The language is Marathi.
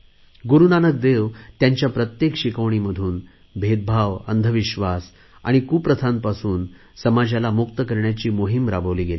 गुरुनानक देव यांच्या प्रत्येक शिकवणीमधून भेदभाव अंधविश्वास आणि कुप्रथांपासून समाजाला मुक्त करण्याची मोहिम राबवली गेली